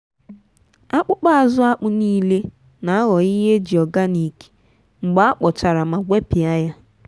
akpụkpa azụ akpụ niile n'aghọ ihe ejị organic mgbe akpọchara ma gwepịa ya.